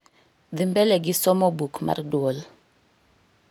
dhi mbele gi somo buk mar duol